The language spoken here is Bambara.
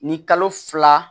Ni kalo fila